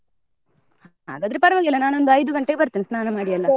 ಹಾಗದ್ರೆ ಪರವಾಗಿಲ್ಲ ನಾನು ಒಂದ್ ಐದು ಗಂಟೆಗೆ ಬರ್ತೇನೆ ಸ್ನಾನ ಮಾಡಿ .